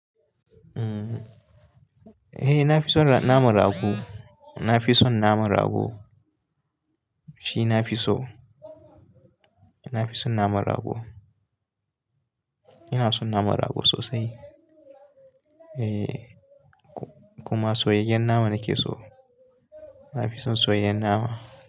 Eh, na fi son naman rago. Na fi son naman rago. Shi na fi so. Na fi son naman rago. Ina son naman rago sosai. Eh kuma soyayyen nama nake so. Na fi son soyayyen nama.